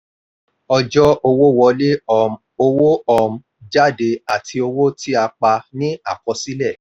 ọjọ́ owó wọlé um owó um jáde àti owó tí a pa ni àkọsílẹ̀.